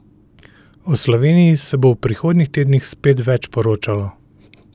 O Sloveniji se bo v prihodnjih tednih spet več poročalo.